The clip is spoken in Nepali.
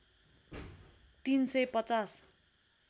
३ सय ५०